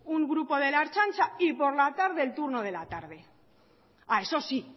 un grupo de la ertzaintza y por la tarde el turno de la tarde eso sí